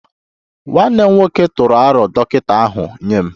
Nwanne m nwoke tụrụ aro dọkịta ahu nye m